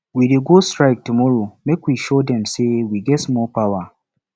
we dey go strike tomorrow make we show de say we get small power